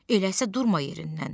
Elə isə durma yerindən.